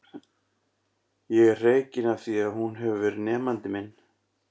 Ég er hreykinn af því að hún hefur verið nemandi minn.